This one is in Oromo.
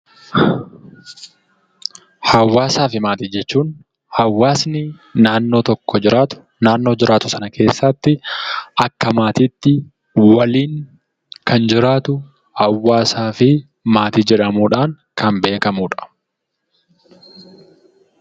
Hawwaasaa fi Maatii jechuun hawwaasni naannoo tokko jiraatu naannoo jiraatu sana keessatti akka maatiitti waliin kan jiraatu hawwaasaa fi maatii jedhamuudhaan kan beekamudha.